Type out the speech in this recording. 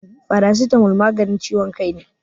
Paracetamol maganin ciwon kai ne.